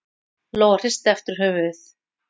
Lóa hristi aftur höfuðið.